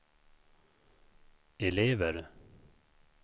elever